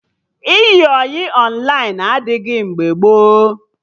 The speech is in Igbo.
Ịyị ọyị Ọnlaịn adịghị mgbe gboo